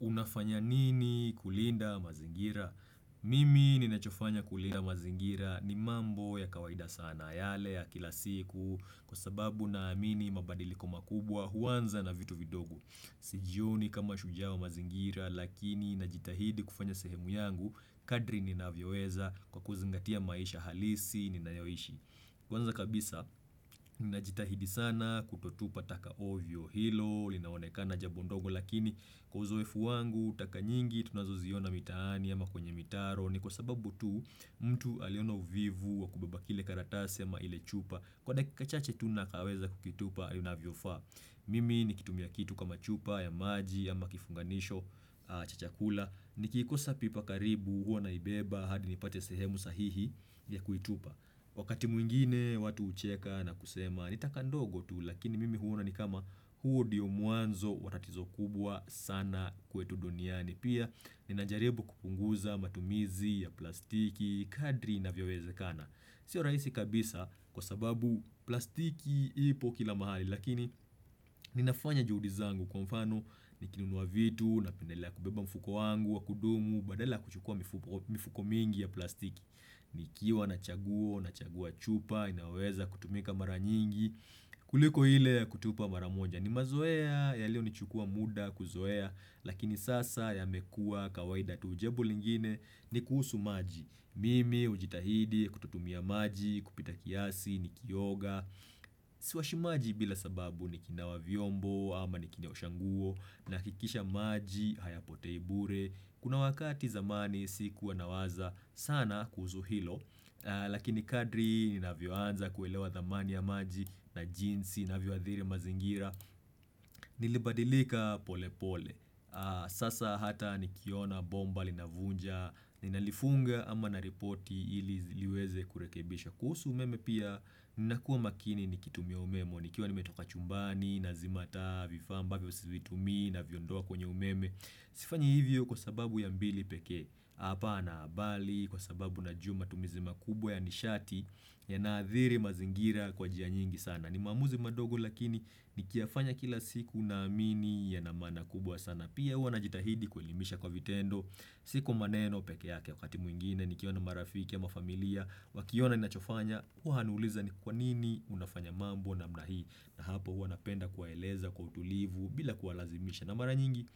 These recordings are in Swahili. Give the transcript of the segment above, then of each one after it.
Unafanya nini kulinda mazingira? Mimi ninachofanya kulinda mazingira ni mambo ya kawaida sana yale ya kila siku kwa sababu naamini mabadiliko makubwa huanza na vitu vidogo. Sijioni kama shujaa wa mazingira lakini najitahidi kufanya sehemu yangu kadri ninavyoweza kwa kuzingatia maisha halisi ninayoishi. Kwanza kabisa nina jitahidi sana kutotupa taka ovyo hilo linaonekana jambo ndogo lakini kwa uzoefu wangu taka nyingi tunazoziona mitaani ama kwenye mitaro ni kwa sababu tu mtu aliona uvivu wa kubeba kile karatasi ama ile chupa kwa dakika chache tu na akaweza kukitupa inavyofaa mimi nikitumia kitu kama chupa ya maji ama kifunganisho cha chakula nikikosa pipa karibu huo naibeba hadi nipate sehemu sahihi ya kuitupa wakati mwingine watu hucheka na kusema ni taka ndogo tu Lakini mimi huona ni kama huo ndio mwanzo wa tatizo kubwa sana kwetu duniani Pia ninajaribu kupunguza matumizi ya plastiki, kadri inavyowezekana siyo rahisi kabisa kwa sababu plastiki ipo kila mahali Lakini ninafanya juhudi zangu kwa mfano nikinunua vitu napendelea kubeba mfuko wangu wa kudumu Badala kuchukua mifuko mingi ya plastiki nikiwa na chaguo, na chagua chupa, inayoweza kutumika mara nyingi kuliko ile ya kutupa mara moja ni mazoea yalio nichukua muda kuzoea lakini sasa yamekuwa kawaida tu jambo lingine ni kuhusu maji. Mimi hujitahidi kutotumia maji kupita kiasi nikioga. Siwashi maji bila sababu nikinawa vyombo ama nikiosha nguo nahakikisha maji hayapotei bure. Kuna wakati zamani si kuwa nawaza sana kuhusu hilo Lakini kadri nina vyoanza kuelewa thamani ya maji na jinsi inavyoadhiri mazingira Nilibadilika pole pole Sasa hata nikiona bomba linavunja ninalifunga ama naripoti ili ziliweze kurekebishwa kuhusu umeme pia ninakuwa makini nikitumia umeme nikiwa nimetoka chumbani nzima taa vifaa ambavyo sivitumii naviondoa kwenye umeme Sifanyi hivyo kwa sababu ya bili pekee apana bali kwa sababu najua matumizi makubwa ya nishati yanaathiri mazingira kwa njia nyingi sana ni maamuzi mandogo lakini nikiyafanya kila siku naamini yanamaana kubwa sana pia huwa najitahidi kuelimisha kwa vitendo Si kwa maneno pekee yake wakati mwingine nikiona marafiki ama mafamilia Wakiona ni nachofanya huwa nauliza ni kwa nini unafanya mambo namna hii na hapo huwa napenda kuwaeleza kwa utulivu bila kuwalazimisha na mara nyingi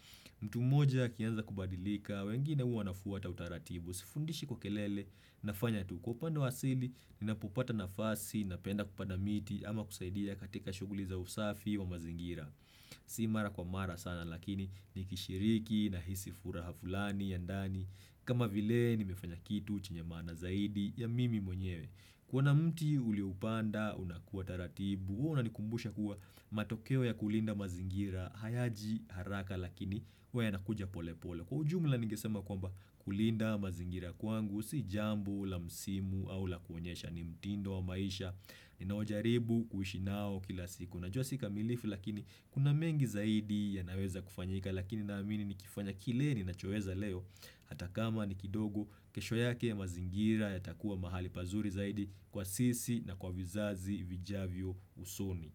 mtu mmoja akianza kubadilika, wengine huwa wanafuata utaratibu, sifundishi kwa kelele, nafanya tu kwa upande wa asili, ninapopata nafasi, napenda kupanda miti, ama kusaidia katika shughuli za usafi wa mazingira. Si mara kwa mara sana, lakini nikishiriki nahisi furaha fulani, ya ndani, kama vile nimefanya kitu chenye maana zaidi ya mimi mwenyewe. Kuona mti ulioupanda, unakua taratibu, huwa unanikumbusha kuwa matokeo ya kulinda mazingira, hayaji haraka lakini huwa yanakuja pole pole. Kwa ujumla ningesema kwamba kulinda mazingira kwangu, si jambo, la msimu au la kuonyesha ni mtindo wa maisha, ninaojaribu kuishi nao kila siku. Najua sikamilifu lakini kuna mengi zaidi yanaweza kufanyika lakini naamini nikifanya kile ninachoweza leo hata kama ni kidogo kesho yake mazingira yatakua mahali pazuri zaidi kwa sisi na kwa vizazi vijavyo usoni.